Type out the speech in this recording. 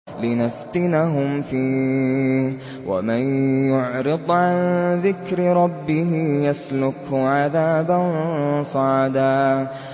لِّنَفْتِنَهُمْ فِيهِ ۚ وَمَن يُعْرِضْ عَن ذِكْرِ رَبِّهِ يَسْلُكْهُ عَذَابًا صَعَدًا